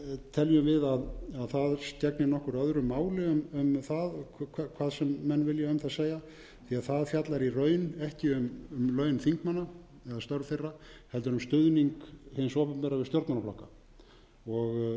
teljum við að það gegni nokkuð öðru máli um það hvað sem menn vilja um það segja því það fjallar í raun ekki um laun þingmanna eða starf þeirra heldur um stuðning hins opinbera við stjórnmálaflokka sem er